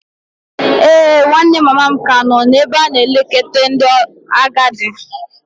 Ee, nwanne mama m ka nọ n'ebe a na-elekọta ndị agadi.